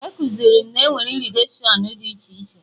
Ekuziri m na enwere irrigatiọnụ dị iche iche